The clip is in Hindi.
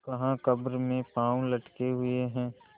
कहाकब्र में पाँव लटके हुए हैं